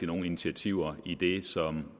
nogen initiativer i det som